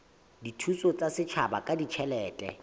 dithuso tsa setjhaba ka ditjhelete